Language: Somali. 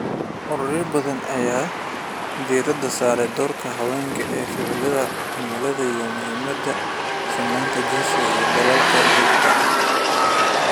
Ururo badan ayaa diirada saaraya doorka haweenka ee ficilka cimilada iyo muhiimada sinnaanta jinsiga ee dadaalka joogtada ah.